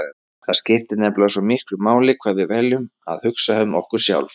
Það skiptir nefnilega svo miklu máli hvað við veljum að hugsa um okkur sjálf.